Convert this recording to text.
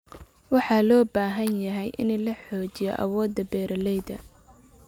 Waxa loo baahan yahay in la xoojiyo awoodda beeralayda.